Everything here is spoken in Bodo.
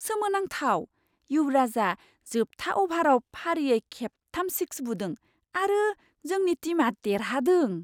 सोमोनांथाव! युवराजा जोबथा अभाराव फारियै खेबथाम सिक्स बुदों आरो जोंनि टिमआ देरहादों।